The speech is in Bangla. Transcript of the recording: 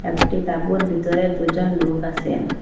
একটি তাবুর বিতরে দুজন লোক আসেন।